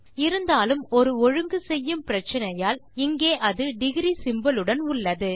இருந்தாலும் ஒரு ஒழுங்கு செய்யும் பிரச்சினையால் இங்கே அது டிக்ரி சிம்போல் உடன் உள்ளது